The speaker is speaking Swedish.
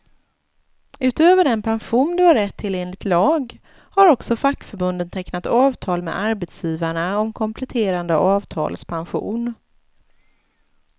Utöver den pension du har rätt till enligt lag, har också fackförbunden tecknat avtal med arbetsgivarna om kompletterande avtalspension.